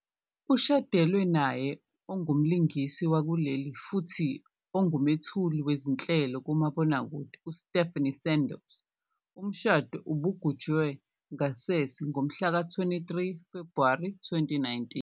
Ushadelwe naye ongumlingisi wakuleli, futhi ongumethuli wezinhlelo kumabonakude uStephanie Sandows. Umshado ubugujwe ngasese ngomhlaka 23 Febhuwari 2019.